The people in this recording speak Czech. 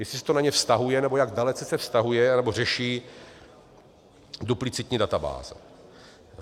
Jestli se to na ně vztahuje, nebo jak dalece se vztahuje, anebo řeší duplicitní databáze.